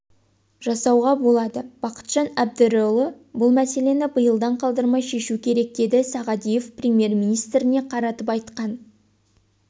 жасауға болады бақытжан әбдірұлы бұл мәселені биылдан қалдырмай шешу керек деді сағадиев премьер-министріне қаратып айтқан